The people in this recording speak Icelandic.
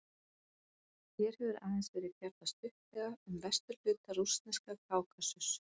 Hér hefur aðeins verið fjallað stuttlega um vesturhluta rússneska Kákasus.